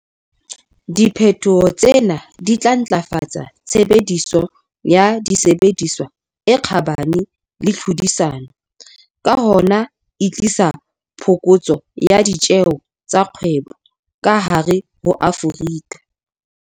Diphetoho tsena di tla ntlafatsa tshebediso ya disebediswa e kgabane le tlhodisano, ka hona e tlise phokotso ya ditjeho tsa kgwebo ka hare ho Afrika.